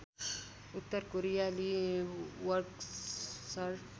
उत्तर कोरियाली वर्कर्स